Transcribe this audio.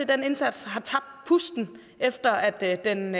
den indsats har tabt pusten efter at den